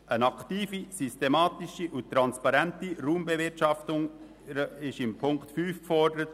Eine aktive, systematische und transparente Raumbewirtschaftung wird in Ziffer 5 gefordert.